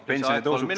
Lisaaeg kolm minutit.